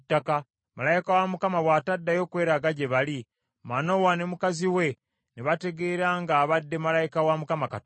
Malayika wa Mukama bw’ataddayo kweraga gye bali, Manowa ne mukazi we ne bategeera ng’abadde malayika wa Mukama Katonda.